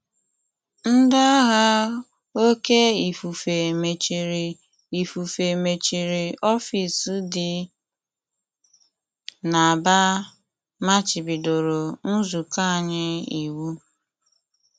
Ndị agha oké ifufe mechiri ifufe mechiri ọfis dị n’Aba machibido nzukọ anyị iwu.